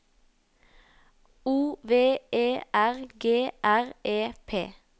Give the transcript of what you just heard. O V E R G R E P